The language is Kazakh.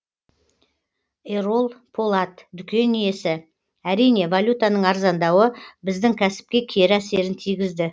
ерол полат дүкен иесі әрине валютаның арзандауы біздің кәсіпке кері әсерін тигізді